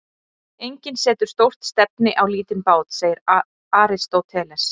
Enginn setur stórt stefni á lítinn bát, segir Aristóteles.